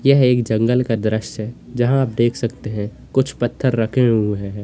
यह एक जंगल का दृश्य जहां आप देख सकते हैं कुछ पत्थर रखे हुआ है।